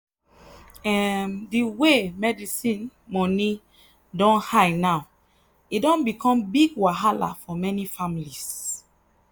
um the way medicine money don high now e don become big wahala for many families.